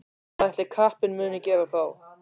Hvað ætli kappinn muni gera þá?